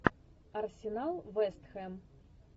арсенал вест хэм